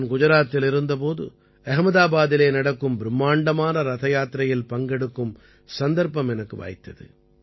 நான் குஜராத்தில் இருந்த போது அஹமதாபாதிலே நடக்கும் பிரும்மாண்டமான ரதயாத்திரையில் பங்கெடுக்கும் சந்தர்ப்பம் எனக்கு வாய்த்தது